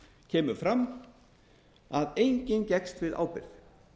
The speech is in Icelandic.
kemur fram að enginn gekkst við ábyrgð